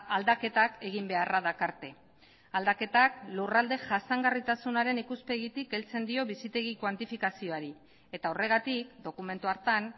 aldaketak egin beharra dakarte aldaketak lurralde jasangarritasunaren ikuspegitik heltzen dio bizitegi kuantifikazioari eta horregatik dokumentu hartan